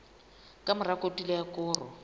ka mora kotulo ya koro